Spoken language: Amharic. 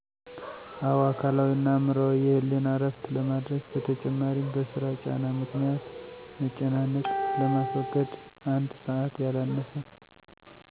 አወ። አካላዊ እና አዕምሮአዊ የህሌና እረፍት ለማድረግ በተጨማሪም በስራ ጫና ምክኒያት መጨናነቅ ለማስወገድ አንድ ሰዐት ያላነሰ